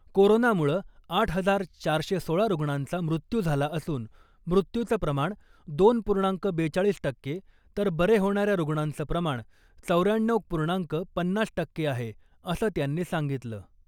कोरोनामुळं आठ हजार चारशे सोळा रुग्णांचा मृत्यू झाला असून मृत्यूचं प्रमाण दोन पूर्णांक बेचाळीस टक्के तर बरे होणाऱ्या रुग्णांचं प्रमाण चौऱ्याण्णव पूर्णांक पन्नास टक्के आहे , असं त्यांनी सांगितलं .